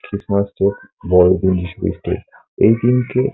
Christmas day বড়দিন এই দিনকে ।